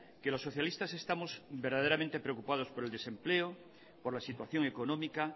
que los socialistas estamos verdaderamente preocupados por el desempleo por la situación económica